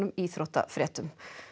íþróttafréttum